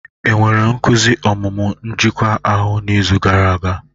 E nwere nkuzi ọmụmụ njikwa ahụ n'izu gara aga?